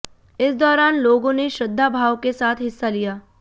इस दौरान लोगों ने श्रद्धा भाव के साथ हिस्सा लिया